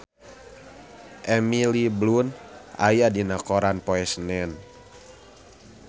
Emily Blunt aya dina koran poe Senen